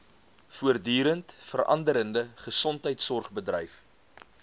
voortdurend veranderende gesondheidsorgbedryf